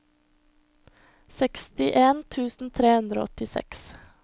sekstien tusen tre hundre og åttiseks